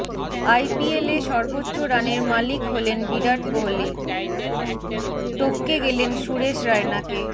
আইপিএলে সর্বোচ্চ রানের মালিক হলেন বিরাট কোহলি টপকে গেলেন সুরেশ রায়নাকে